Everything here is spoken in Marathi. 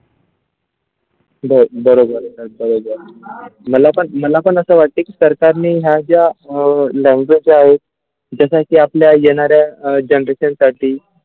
ब बरोबर बरोबर मला पण मला पण अस वाटते की सरकारने हा ज्या अ language जे आहे जसा की आपल्या येणाऱ्या generation साठी.